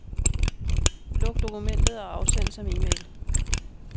Luk dokumentet og afsend som e-mail.